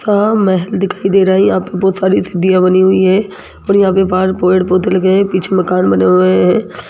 हवा महल दिखाई दे रहा है यहां पे बहोत सारी सिधीया बनी हुई है और यहां पे बाहर पेड़ पौधे लगे हैं पीछे मकान बने हुए हैं।